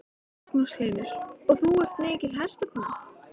Magnús Hlynur: Og þú ert mikil hestakona?